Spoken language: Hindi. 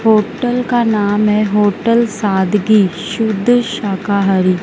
होटल का नाम है होटल सादकी शुध शाकाहारी--